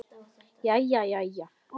Jæja, jæja.